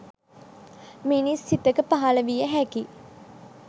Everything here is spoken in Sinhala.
මිනිස් සිතක පහළ විය හැකි